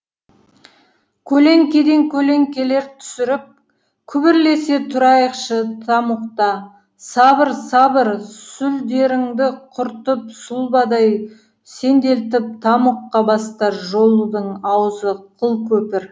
көлеңкеден көлеңкелер түсіріп күбірлесе тұрайықшы тамұқта сабыр сабыр сүлдеріңді құртып сұлбадай сенделтіп тамұққа бастар жолдың аузы қылкөпір